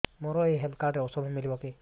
ମୋର ଏଇ health card ରେ ଔଷଧ ମିଳିବ କି